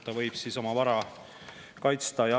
Siis võib ta oma vara kaitsta.